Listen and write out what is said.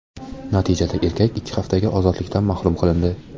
Natijada erkak ikki haftaga ozodlikdan mahrum qilindi.